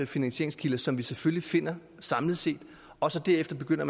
finansieringskilder som vi selvfølgelig finder samlet set og så derefter begynder